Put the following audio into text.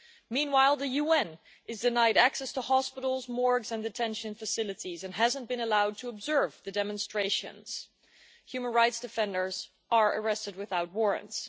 Meanwhile, the UN is denied access to hospitals, morgues and detention facilities and has not been allowed to observe the demonstrations, and human rights defenders are being arrested without warrants.